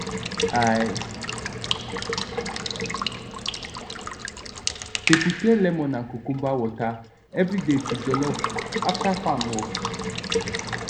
i dey prepare lemon and cucumber water everyday to jollof after farm work